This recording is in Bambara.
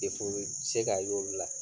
be se ka ye olu la